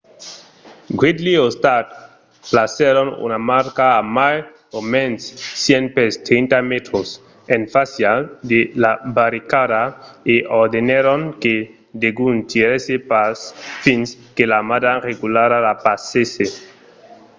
gridley o stark placèron una marca a mai o mens 100 pès 30 m en fàcia de la barricada e ordenèron que degun tirèsse pas fins que l'armada regulara la passèsse